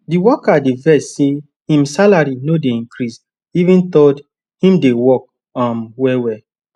di worker dey vex say im salary no dey increase even though im dey work um wellwell